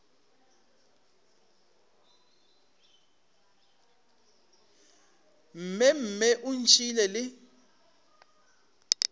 mme mme o ntšhiile le